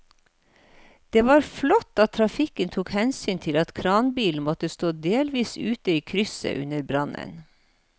Det var flott at trafikken tok hensyn til at kranbilen måtte stå delvis ute i krysset under brannen.